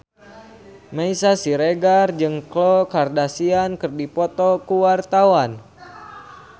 Meisya Siregar jeung Khloe Kardashian keur dipoto ku wartawan